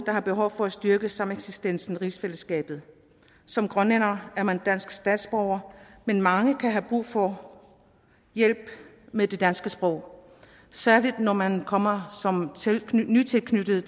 der er behov for at styrke sameksistensen i rigsfællesskabet som grønlænder er man dansk statsborger men mange kan have brug for hjælp med det danske sprog særlig når man kommer som nytilknyttet